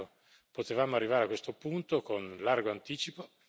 Peccato, potevamo arrivare a questo punto con largo anticipo.